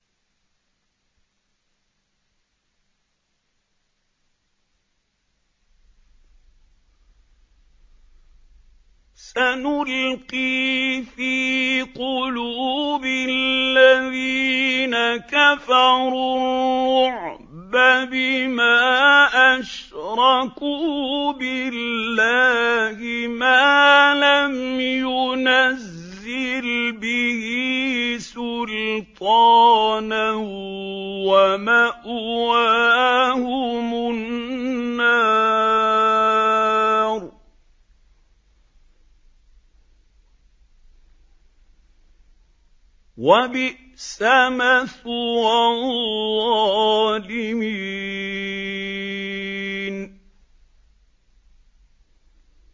سَنُلْقِي فِي قُلُوبِ الَّذِينَ كَفَرُوا الرُّعْبَ بِمَا أَشْرَكُوا بِاللَّهِ مَا لَمْ يُنَزِّلْ بِهِ سُلْطَانًا ۖ وَمَأْوَاهُمُ النَّارُ ۚ وَبِئْسَ مَثْوَى الظَّالِمِينَ